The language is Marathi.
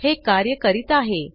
हे कार्य करीत आहे